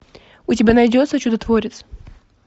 у тебя найдется чудотворец